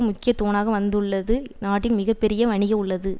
முக்கிய தூணாக வந்துள்ளது நாட்டின் மிக பெரிய வணிக உள்ளது